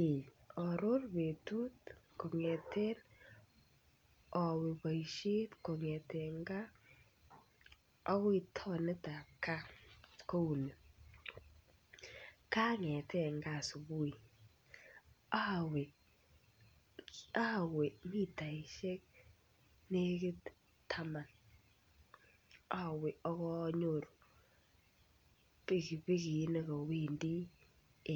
Eeh oror betut kongeten owe boishet kongeten gaa akoi townit tab gaa kouni, kongeten gaa subui owe mitaishek nekit taman owe ak onyoru pikipiki nekowendii